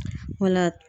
Wala